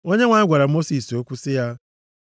Onyenwe anyị gwara Mosis okwu sị ya,